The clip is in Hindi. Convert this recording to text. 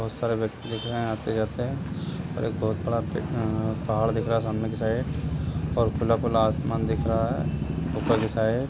बहुत सारे व्यक्ति दिख रहे आते-जाते और एक बहुत बड़ा पहाड़ दिख रहा सामने की साइड और खुला-खुला आसमान दिख रहा है ऊपर की साइड --